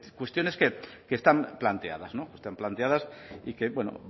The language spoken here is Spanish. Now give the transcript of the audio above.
cuestiones que están planteadas que están planteadas y que bueno